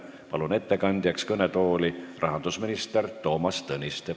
Palun ettekandeks kõnetooli rahandusminister Toomas Tõniste.